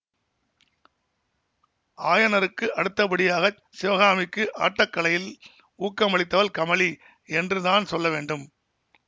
ஆயனருக்கு அடுத்தபடியாகச் சிவகாமிக்கு ஆட்டக் கலையில் ஊக்கமளித்தவள் கமலி என்று தான் சொல்லவேண்டும்